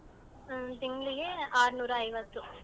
ಹ್ಮ್ಂ ತಿಂಗ್ಳಿಗೆ ಆರನೂರ ಐವತ್ತು.